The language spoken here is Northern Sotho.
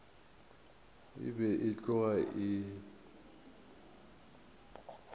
e be e tloga e